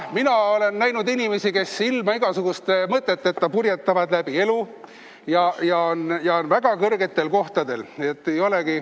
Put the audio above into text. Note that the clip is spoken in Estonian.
Mina olen näinud inimesi, kes ilma igasuguste mõteteta purjetavad läbi elu ja on väga kõrgetel kohtadel.